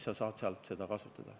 Siis sa saad sealt seda kasutada.